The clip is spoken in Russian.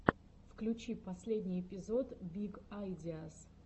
включи последний эпизод биг айдиаз